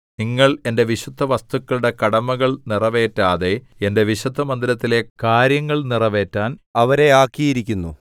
നിങ്ങൾ എന്റെ വിശുദ്ധവസ്തുക്കളുടെ കടമകൾ നിറവേറ്റാതെ എന്റെ വിശുദ്ധമന്ദിരത്തിലെ കാര്യങ്ങൾ നിറവേറ്റാൻ അവരെ ആക്കിയിരിക്കുന്നു